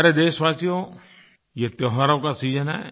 प्यारे देशवासियो ये त्योहारों का सीजन है